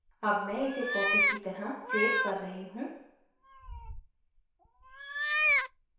अब मैं इसे copy की तरह सेव कर रही हूँ